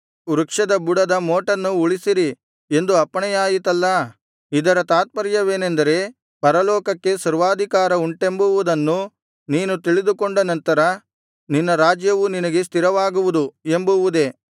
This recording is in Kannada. ವೃಕ್ಷದ ಬುಡದ ಮೋಟನ್ನು ಉಳಿಸಿರಿ ಎಂದು ಅಪ್ಪಣೆಯಾಯಿತಲ್ಲಾ ಇದರ ತಾತ್ಪರ್ಯವೇನೆಂದರೆ ಪರಲೋಕಕ್ಕೆ ಸರ್ವಾಧಿಕಾರ ಉಂಟೆಂಬುವುದನ್ನು ನೀನು ತಿಳಿದುಕೊಂಡ ನಂತರ ನಿನ್ನ ರಾಜ್ಯವು ನಿನಗೆ ಸ್ಥಿರವಾಗುವುದು ಎಂಬುವುದೇ